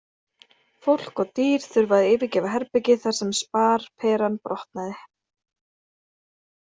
Fólk og dýr þurfa að yfirgefa herbergið þar sem sparperan brotnaði.